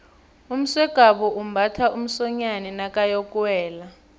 umsegwabo umbatha umsonyani nakayokuwela